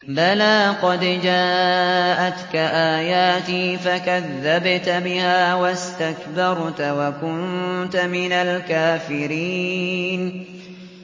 بَلَىٰ قَدْ جَاءَتْكَ آيَاتِي فَكَذَّبْتَ بِهَا وَاسْتَكْبَرْتَ وَكُنتَ مِنَ الْكَافِرِينَ